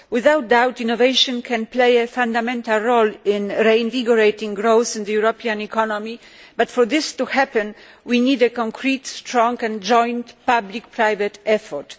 Without doubt, innovation can play a fundamental role in reinvigorating growth in the European economy, but for this to happen, we need a concrete, strong and joint public private effort.